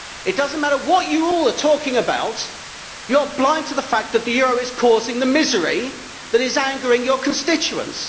It does not matter what you all are talking about you are blind to the fact that the euro is causing the misery that is angering your constituents.